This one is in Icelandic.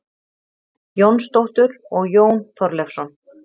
Jónsdóttur og Jón Þorleifsson.